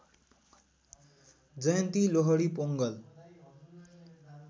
Jayanti Lohri Pongal